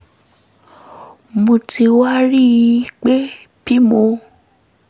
mo ti wá rí i pé bí mo